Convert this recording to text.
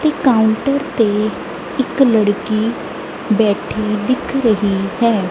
ਤੇ ਕਾਊਂਟਰ ਤੇ ਇੱਕ ਲੜਕੀ ਬੈਠੀ ਦਿਖ ਰਹੀ ਹੈ।